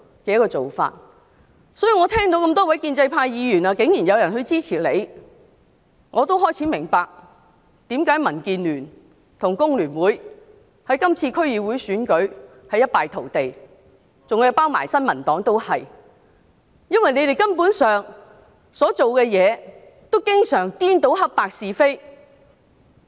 所以，當我聽到多位建制派議員竟然支持何君堯議員，我便明白為何民建聯和工聯會在今次區議會選舉一敗塗地，新民黨亦然，原因是他們所做的事根本顛倒黑白是非。